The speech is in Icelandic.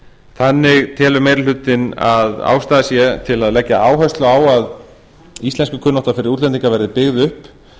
þannig telur meiri hlutinn að ástæða sé til að leggja áherslu á að íslenskukunnátta fyrir útlendinga verði byggð upp